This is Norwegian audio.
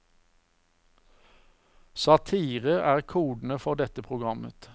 Satire er kodene for dette programmet.